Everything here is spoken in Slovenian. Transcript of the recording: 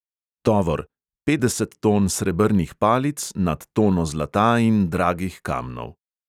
Tovor: petdeset ton srebrnih palic, nad tono zlata in dragih kamnov.